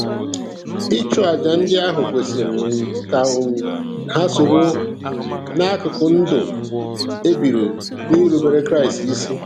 Ịchụàjà ndị ahụ kwesịrị um ka um ha soro um n'akụkụ ndụ e biri n'irubere Chineke isi.